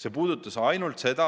See puudutas ainult seda,